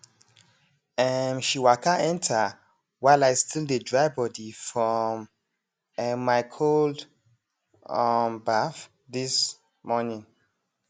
um she waka enter while i still dey dry body from um my cold um baff this morning